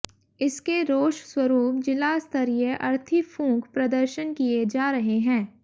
इसके रोष स्वरूप जिला स्तरीय अर्थी फूंक प्रदर्शन किए जा रहे है